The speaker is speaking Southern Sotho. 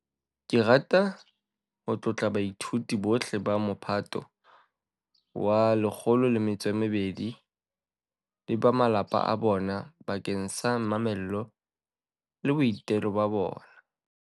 Ke rata ho tlotla baithuti bohle ba Mophato wa 12 le ba malapa a bona bakeng sa mamello le boitelo ba bona.